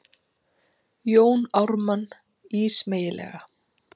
Jón Ármann ísmeygilega.